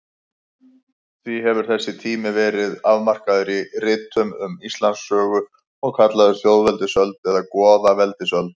Því hefur þessi tími verið afmarkaður í ritum um Íslandssögu og kallaður þjóðveldisöld eða goðaveldisöld.